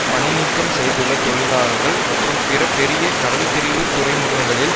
பணி நீக்கம் செய்துள்ள தொழிலாளர்கள் மற்றும் பிற பெரிய கடல்பிரிவு துறைமுகங்களில்